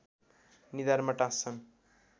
निधारमा टाँस्छन्